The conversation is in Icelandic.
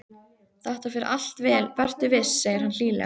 Þetta fer allt vel, vertu viss, segir hann hlýlega.